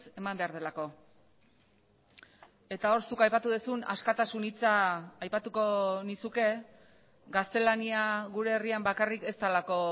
eman behar delako eta hor zuk aipatu duzun askatasun hitza aipatuko nizuke gaztelania gure herrian bakarrik ez delako